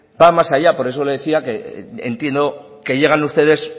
va más allá por eso le decía que entiendo que llegan ustedes